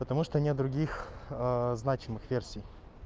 потому что нет других значимых версий